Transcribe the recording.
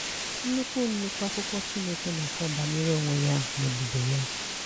Nnukwu Nnukwu akụkọ Chineke na-akọ banyere onwe ya na ebube ya.